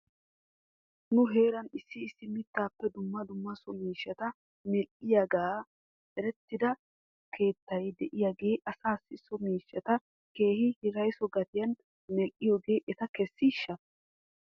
Nu heeran issi mittaappe dumma dumma so miishshata medhdhiyoogan erettida keettay de'iyaagee asaassi so miishshata keehi hiraysso gatiyan medhdhiyoogee eta kessiishsha?